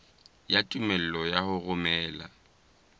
ya tumello ya ho romela